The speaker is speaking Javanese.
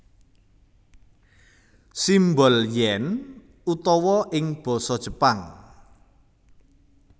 Simbol yen utawa ing basa Jepang